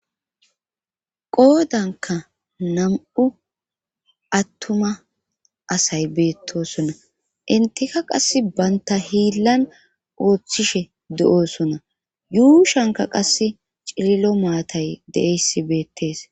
qoodanka nam7u attuma asay beettosona intika qass baynta hiillan ooththishe de7oosona yuushanka qasse cililo maatay deeyessi beettes